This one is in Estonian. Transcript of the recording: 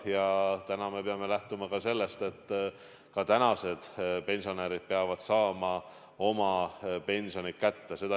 Ja täna me peame lähtuma sellestki, et ka praegused pensionärid peavad saama oma pensioni kätte.